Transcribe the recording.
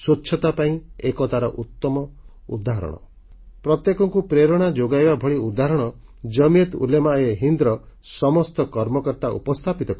ସ୍ୱଚ୍ଛତା ପାଇଁ ଏକତାର ଉତମ ଉଦାହରଣ ପ୍ରତ୍ୟେକଙ୍କୁ ପ୍ରେରଣା ଯୋଗାଇବା ଭଳି ଉଦାହରଣ ଜାମିୟାତ୍ ଉଲେମାଏହିନ୍ଦର ସମସ୍ତ କର୍ମକର୍ତ୍ତା ଉପସ୍ଥାପିତ କଲେ